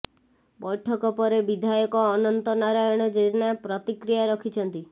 ବୈଠକ ପରେ ବିଧାୟକ ଅନନ୍ତ ନାରାୟଣ ଜେନା ପ୍ରତିକ୍ରିୟା ରଖିଛନ୍ତି